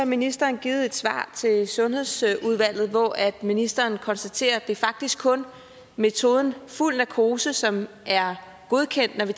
ministeren givet et svar til sundhedsudvalget hvor ministeren konstaterer at det faktisk kun er metoden fuld narkose som er godkendt når det